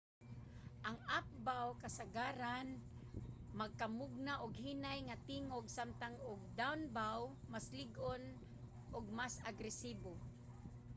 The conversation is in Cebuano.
ang up-bow kasagaran makamugna og hinay nga tingog samtang ang down-bow mas lig-on ug mas agresibo